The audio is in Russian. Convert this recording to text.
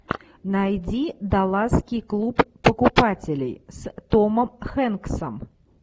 найди далласский клуб покупателей с томом хэнксом